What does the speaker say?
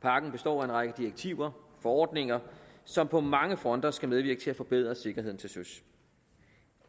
pakken består af en række direktiver og forordninger som på mange fronter skal medvirke til at forbedre sikkerheden til søs